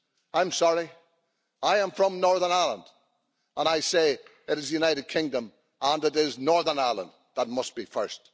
I'm sorry, I am from Northern Ireland, and I say it is the United Kingdom and it is Northern Ireland that must be first.